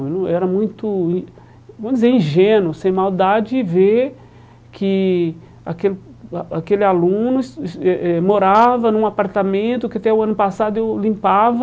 Eu era muito in, vamos dizer, ingênuo, sem maldade, ver que aquele a aquele aluno es es eh eh morava num apartamento que até o ano passado eu limpava